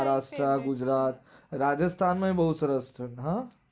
મહારાષ્ટ્ર, ગુજરાત, રાજસ્થાન નું ય બવ સરસ છે હો.